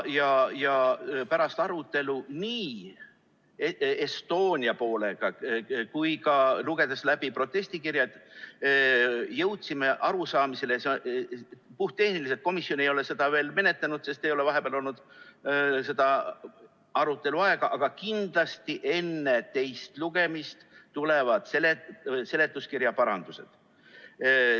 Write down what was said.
Pärast arutelu Estonia poolega ja olles lugenud läbi protestikirjad, jõudsime arusaamisele , et kindlasti enne teist lugemist tulevad seletuskirja parandused.